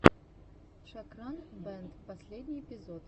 шокран бэнд последний эпизод